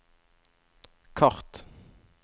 kart